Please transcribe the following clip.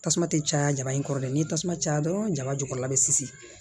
Tasuma tɛ caya jaba in kɔrɔ dɛ ni tasuma caya dɔrɔn jaba jukɔrɔla bɛ sisi